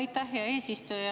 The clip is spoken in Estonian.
Aitäh, hea eesistuja!